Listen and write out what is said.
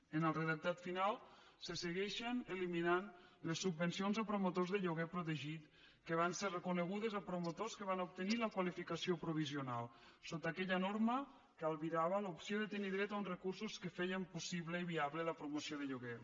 en el redactat final se segueixen eliminant les subvencions a promotors de lloguer protegit que van ser reconegudes a promotors que van obtenir la qualificació provisional sota aquella norma que albirava l’opció de tenir dret a uns recursos que feien possible i viable la promoció de lloguer